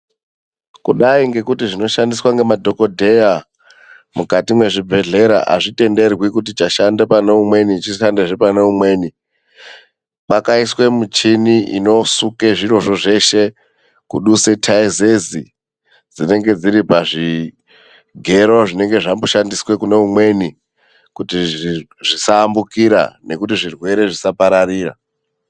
Kudai ngekuti zvinoshandiswa ngemadhokodheya mukati mwezvibhedhlera azvitenderwi kuti chashande paneumweni chishandezve paneumweni, pakaiswe michini inosuke zvirozvo zveshe kuduse tayezezi dzinenge dziripazvigero zvinenge zvamboshandiswe kuneumweni, kuti zvisaambukira nekuti zvirwere zvisapararira.